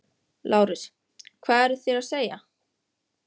LÁRUS: Hvað eruð þér að segja?